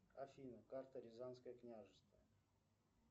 афина карта рязанское княжество